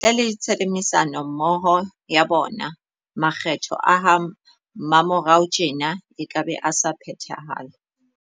Ntle le tshebedisano mmoho ya bona, makgetho a ha mmamorao tjena ekabe a sa phethahala.